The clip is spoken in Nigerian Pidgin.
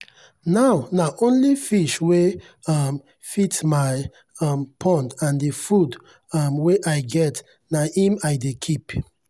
now na only fish wey um fit my um pond and the food um wey i get na im i dey keep.